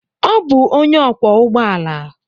Ọ bụ onye ọkwọ ụgbọ ala.